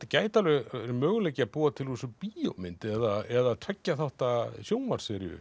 gæti alveg verið möguleiki að búa til úr þessu bíómynd eða tveggja þátta